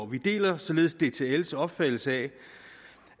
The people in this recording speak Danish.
vi deler således dtls opfattelse af